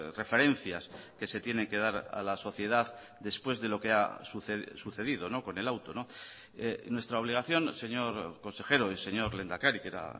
referencias que se tiene que dar a la sociedad después de lo que ha sucedido con el auto nuestra obligación señor consejero y señor lehendakari que era